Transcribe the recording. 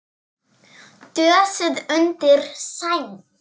Dösuð undir sæng.